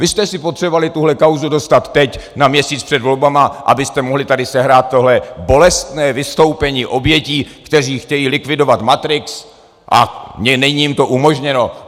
Vy jste si potřebovali tuhle kauzu dostat teď na měsíc před volbami, abyste mohli tady sehrát tohle bolestné vystoupení obětí, které chtějí likvidovat matrix, a není jim to umožněno.